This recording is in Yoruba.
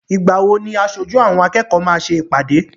Ìgbà wo ni aṣojú àwọn akẹ́kọ̀ọ́ máa ṣe ìpàdé?